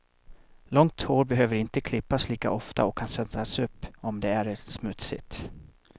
Långt hår behöver inte klippas lika ofta och kan sättas upp om det är smutsigt.